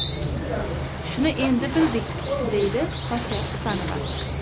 Shuni endi bildik”, deydi Xosiyat Husanova.